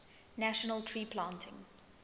national tree planting